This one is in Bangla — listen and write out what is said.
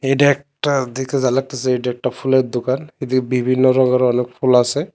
এডা একটা দেখে যা লাগতাসে এইডা একটা ফুলের দোকান ঐ দিকে বিভিন্ন রঙের অনেক ফুল আসে।